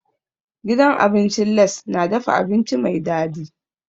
Gidan abincin Lace na dafa abinci mai dadi.